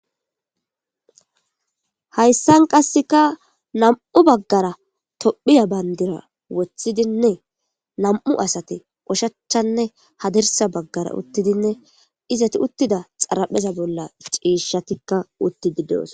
hayssan qasseka nam7u baggara tophiya bayndira woththidinne nam7u asati qoshachanne hadirsa baggara uttidinne izati uttida xarapheza bolla ciishatikka uttidi doos